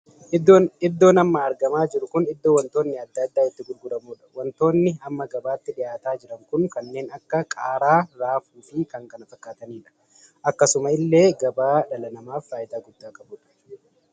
Iddoon amma argamaa jiru kun iddoo wantoonni addaa addaa itti gurguramuudha. wantoonni amma gabaatti dhihaatanii jiran kun kanneen akka qaaraa, raafuu fi kan kana fakkaatanidha. akkasuma illee gabaa dhala namaaf faayidaa hedduu kan qabudha.